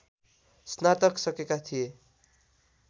स्नातक सकेका थिए